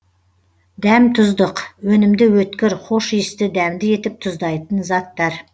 дәм тұздық өнімді өткір хош иісті дәмді етіп тұздайтын заттар